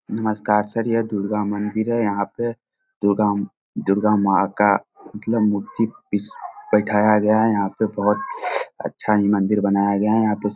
नमस्कार सर यह दुर्गा मंदिर है यहाँ पे दुर्गा दुर्गा माँ का मतलब मूर्ति बि बैठाया गया है यहाँ पे बहोत अच्छा ही मंदिर बनाया गया है यहाँ पे स --